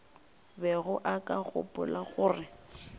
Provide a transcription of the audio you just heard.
bego o ka gopola gore